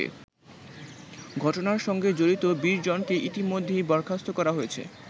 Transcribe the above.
ঘটনার সঙ্গে জড়িত ২০জনকে ইতিমধ্যেই বরখাস্ত করা হয়েছে।